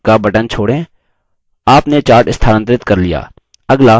आपने chart स्थानांतरित कर लिया